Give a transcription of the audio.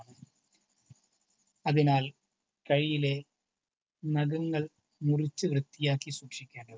അതിനാൽ കൈയിലെ നഖങ്ങൾ മുറിച്ചു വൃത്തിയാക്കി സൂക്ഷിക്കേണ്ടതുണ്ട്.